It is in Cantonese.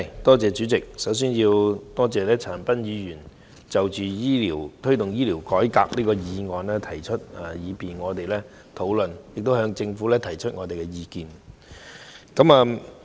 代理主席，首先我感謝陳恒鑌議員提出"推動醫療改革"這項議案，讓我們可以就此進行討論及向政府提出意見。